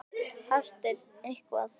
Hafsteinn: Eitthvað?